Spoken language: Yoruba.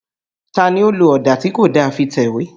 Ta ni ó lo ọ̀dà tí kò da fi tẹ̀wé?